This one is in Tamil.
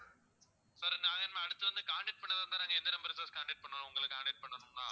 sir நாங்க இனிமே அடுத்து வந்து contact பண்றதா இருந்தா நாங்க எந்த number ல sir contact பண்ணணும் உங்களை contact பண்ணணும்னா